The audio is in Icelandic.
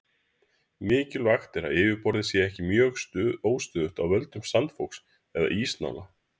mikilvægt er að yfirborðið sé ekki mjög óstöðugt af völdum sandfoks eða ísnála